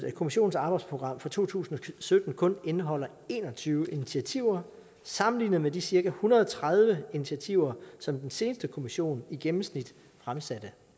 at kommissionens arbejdsprogram for to tusind og sytten kun indeholder en og tyve initiativer sammenlignet med de cirka en hundrede og tredive initiativer som den seneste kommission i gennemsnit fremsatte